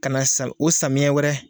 Ka na sa o samiyɛ wɛrɛ.